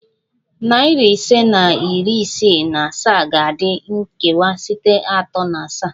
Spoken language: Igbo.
Nari ise na iri isii na asaa ga-adị nkewa site atọ na asaa